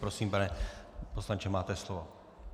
Prosím, pane poslanče, máte slovo.